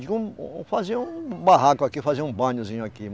Digo, um, fazer um barraco aqui, fazer um banhozinho aqui.